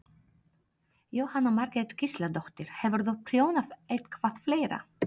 Jóhanna Margrét Gísladóttir: Hefurðu prjónað eitthvað fleira?